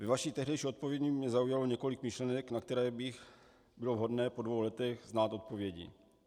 Ve vaší tehdejší odpovědi mě zaujalo několik myšlenek, na které by bylo vhodné po dvou letech znát odpovědi.